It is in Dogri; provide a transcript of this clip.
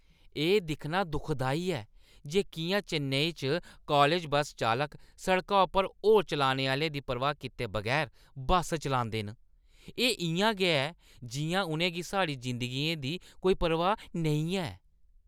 एह् दिक्खना दुखदाई ऐ जे किʼयां चेन्नई च कालज बस्स चालक सड़का उप्पर होर चलने आह्‌लें दी परवाह् कीते बगैर बस चलांदे न। एह् इʼयां ऐ जिʼयां उʼनें गी साढ़ी जिंदगियें दी कोई परवाह् नेईं ऐ।